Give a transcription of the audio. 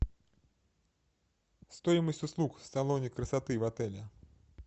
стоимость услуг в салоне красоты в отеле